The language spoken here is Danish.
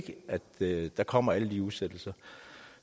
der kommer alle de udsættelser